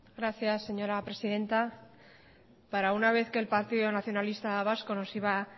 gracias señora presidenta para una vez que el partido nacionalista vasco nos iba